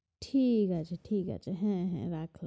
ঠিক আছে ঠিক আছে হ্যাঁ হ্যাঁ রাখ।